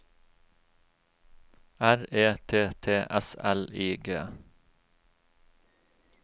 R E T T S L I G